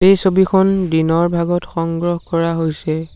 এই ছবিখন দিনৰ ভাগত সংগ্ৰহ কৰা হৈছে।